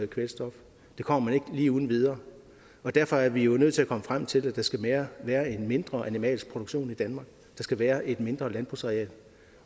kvælstof det kommer man ikke lige uden videre og derfor er vi jo nødt til at komme frem til det der skal være være en mindre animalsk produktion i danmark der skal være et mindre landbrugsareal